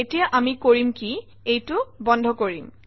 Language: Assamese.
এতিয়া আমি কৰিম কি এইটো বন্ধ কৰিম